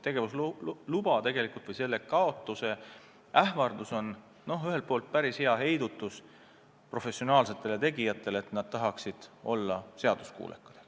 Tegevusloa kaotuse ähvardus on päris hea heidutus professionaalsetele tegijatele, see sunniks olema seaduskuulekas.